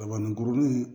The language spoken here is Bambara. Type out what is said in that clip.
Dabaninkuruni